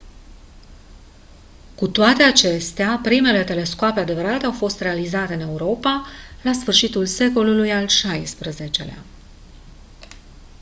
cu toate acestea primele telescoape adevărate au fost realizate în europa la sfârșitul secolului al xvi-lea